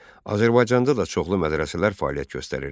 Azərbaycanda da çoxlu mədrəsələr fəaliyyət göstərirdi.